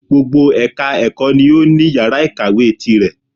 Gbogbo ẹka ẹ̀kọ́ ni o ní yàrá ìkàwé tirẹ̀.